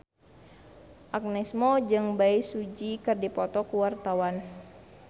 Agnes Mo jeung Bae Su Ji keur dipoto ku wartawan